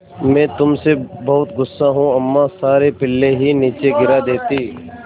मैं तुम से बहुत गु़स्सा हूँ अम्मा सारे पिल्ले ही नीचे गिरा देतीं